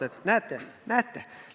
Näete, näete!